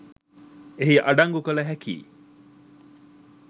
එහි අඩංගු කළ හැකියි.